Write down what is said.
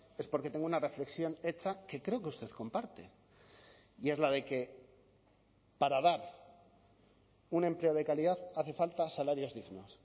es porque tengo una reflexión hecha que creo que usted comparte y es la de que para dar un empleo de calidad hace falta salarios dignos